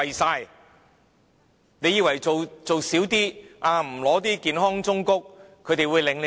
它以為做少一些，不要健康忠告，他們便會領情。